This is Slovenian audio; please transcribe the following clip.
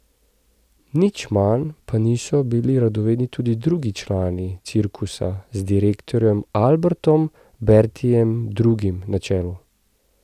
Nič manj pa niso bili radovedni tudi drugi člani cirkusa z direktorjem Albertom Bertijem Drugim na čelu.